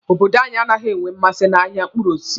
Obodo anyi anaghị enwe mmasị n'ahịa mkpụrụ osisi.